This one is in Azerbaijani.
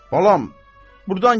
Balam, burdan gedək.